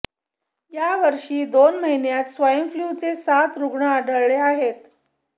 यावर्षी दोन महिन्यांत स्वाइन फ्लूचे सात रुग्ण आढळले आहेत